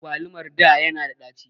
Agwalumar da ya na da ɗaci